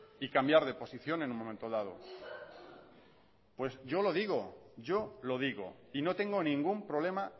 y cambiar de posición en un momento dado pues yo lo digo yo lo digo y no tengo ningún problema